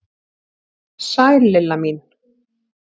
Sæl Lilla mín!